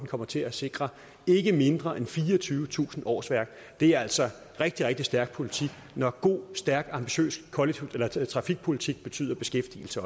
kommer til at sikre ikke mindre end fireogtyvetusind årsværk det er altså rigtig rigtig stærk politik når god stærk ambitiøs trafikpolitik også betyder beskæftigelse